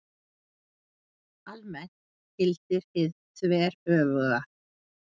Almennt gildir hið þveröfuga.